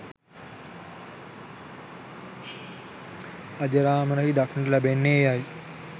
අජරාමරහි දක්නට ලැබෙන්නේ එයයි